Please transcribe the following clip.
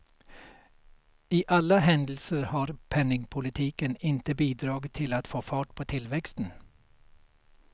I alla händelser har penningpolitiken inte bidragit till att få fart på tillväxten.